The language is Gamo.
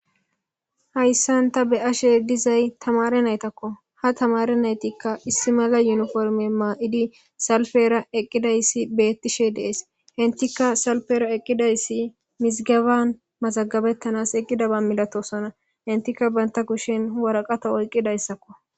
hayssan ta be'ashe dizay tamare naytakko ha tamare naytikka issi mala yuniforme maa7idi salfera eqqidayssi beettishe dees hentika salfera eqqidayssi misigaban mazagabettanas eqqidaba milatosona hentika banta kushen waraqata oyqqidayssakko